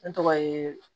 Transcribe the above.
Ne tɔgɔ ye